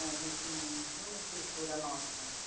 A gente não não tinha uma estrutura nossa.